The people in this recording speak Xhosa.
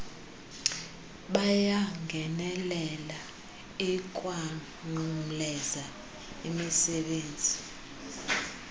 yabangeneleli ikwanqumleza imizebenzi